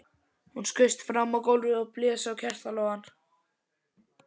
Hún skaust fram á gólfið og blés á kertalogann.